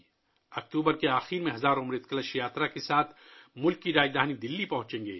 اکتوبر کے آخر میں ہزاروں لوگ امرت کلش یاترا کے ساتھ ملک کی راجدھانی دلّی پہنچیں گے